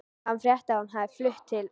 Hann frétti að hún hefði flutt til